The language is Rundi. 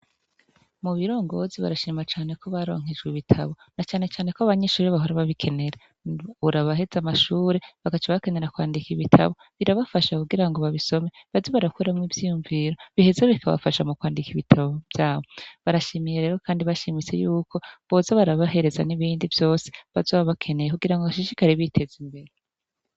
Mu birongozi barashima cane ko baronkejwe ibitabo na canecane ko abanyinshure bahora ababikenera urabaheze amashure bagacabakenera kwandika ibitabo birabafasha kugira ngo babisome bazi barakweramwo ivyiyumviro biheze bikabafasha mu kwandika ibitabo vyabo barashimiye rero, kandi bashimise yuko boza barabahereza n'ibindi vyose azoba akeneye kugira ngo ashishikare biteze imbere.